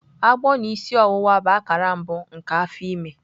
Agbọ na isi ọwụwa bụ akara mbụ nke afọ ime.